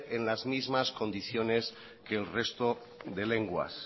en las mismas condiciones que el resto de lenguas